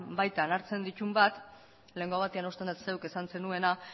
baitan hartzen dituen bat lehengo batean uste dut zuk esan zenuela